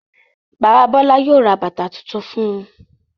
Bàbá Bọ́lá yóò ra bàtá tuntun fún un.